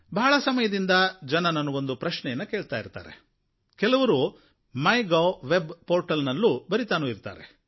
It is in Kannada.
ಬಹಳ ಸಮಯದಿಂದ ಜನ ನನಗೊಂದು ಪ್ರಶ್ನೆಯನ್ನು ಕೇಳ್ತಾ ಇರ್ತಾರೆ ಕೆಲವರು ಮೈಗೌ ವೆಬ್ ಪೋರ್ಟಲ್ ನಲ್ಲಿ ಬರೀತಾನೂ ಇರ್ತಾರೆ